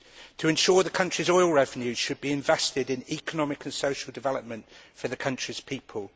To ensure the country's oil revenue should be invested in economic and social development for the country's people.